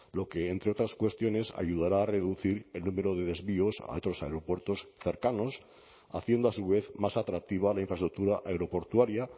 lo que entre otras cuestiones ayudará a reducir el número de desvíos a otros aeropuertos cercanos haciendo a su vez más atractiva la infraestructura aeroportuaria